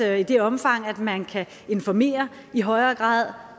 at i det omfang man kan informere i højere grad